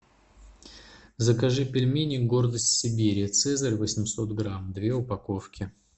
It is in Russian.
закажи пельмени гордость сибири цезарь восемьсот грамм две упаковки